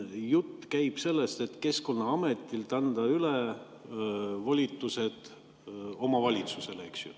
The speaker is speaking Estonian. Jutt käib sellest, et Keskkonnaametilt anda üle volitused omavalitsusele, eks ju.